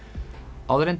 áður en